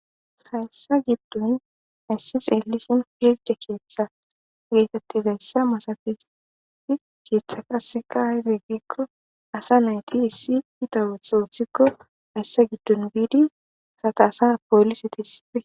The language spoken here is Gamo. Hayssa giddon hayssi xeellisin pirde keeththa geetettizayssa masatees. He keeththa qasseka aybe giikko asa nayti iita ootho othikko hayssa giddon biidi asata asa poolisetas issipe.